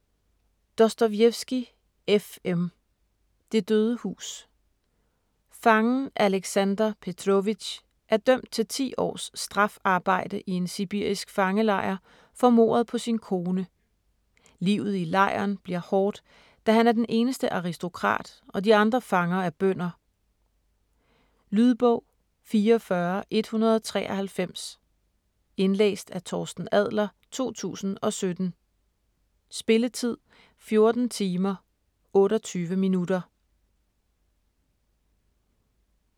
Dostojevskij, F. M.: Det døde hus Fangen Aleksander Petróvitsj er dømt til ti års strafarbejde i en sibirisk fangelejr for mordet på sin kone. Livet i lejren bliver hårdt, da han er den eneste aristokrat og de andre fanger er bønder. Lydbog 44193 Indlæst af Torsten Adler, 2017. Spilletid: 14 timer, 28 minutter.